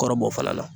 Kɔrɔ bɔ fana na